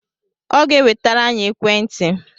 Ọ ga-enwetere anyị ekwentị